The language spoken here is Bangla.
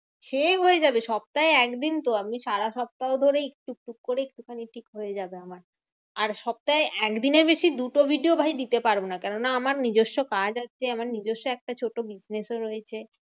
সে হয়ে যাবে সপ্তায় একদিন তো আমি সারা সপ্তাহ ধরেই টুক টুক করে একটু খানি ঠিক হয়ে যাবে আমার। আর সপ্তাহে একদিনের বেশি দুটো video ভাই দিতে পারবো না। কেননা আমার নিজস্ব কাজ আছে আমার নিজস্ব একটা ছোট business ও রয়েছে।